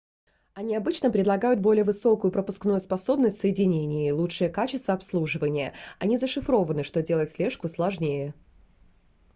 они обычно предлагают более высокую пропускную способность соединения и лучшее качество обслуживания они зашифрованы что делает слежку сложнее